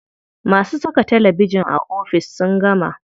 Masu saka talabijin a ofis sun gama.